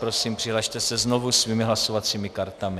Prosím, přihlaste se znovu svými hlasovacími kartami.